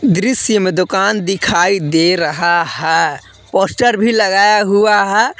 दृश्य में दुकान दिखाई दे रहा है पोस्टर भी लगाया हुआ है।